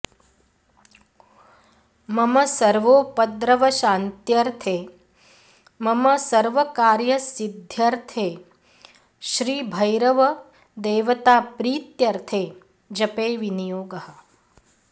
मम सर्वोपद्रवशान्त्यर्थे मम सर्वकार्यसिद्ध्यर्थे श्रीभैरव देवताप्रीत्यर्थे जपे विनियोगः